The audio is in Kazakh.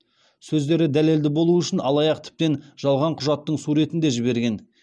сөздері дәлелді болу үшін алаяқ тіптен жалған құжаттың суретін де жіберген